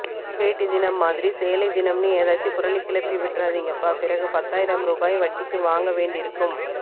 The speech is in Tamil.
வேட்டி தினம் மாதிரி சேலை தினம்னு எதாச்சும் புரளி கிளப்பி விட்டுறாதீங்கப்பா பிறகு பத்தாயிரம் ரூபாய் வட்டிக்கு வாங்க வேண்டிருக்கும்